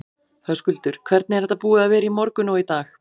Höskuldur: Hvernig er þetta búið að vera í morgun og í dag?